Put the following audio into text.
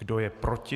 Kdo je proti?